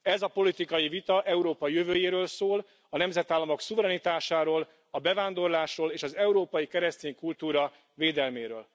Ez a politikai vita Európa jövőjéről szól, a nemzetállamok szuverenitásáról, a bevándorlásról és az európai keresztény kultúra védelméről.